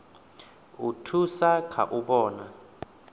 u thusa kha u vhona